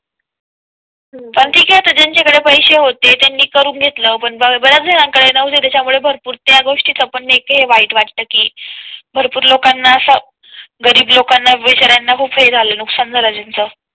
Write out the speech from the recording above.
पण ठीक आहे आता ज्यांच्या कडे पैसे होते त्यांनी करून घेतला पण बऱ्याच जणांकडे नव्हते त्याच्या मुळे भरपूर त्या गोष्टी चा पण हे वाईट वाटतं की भरपूर लोकांना असा गरीब लोकांना, बिचार्यांना खूप हे झालेले नुकसान झालं त्याचं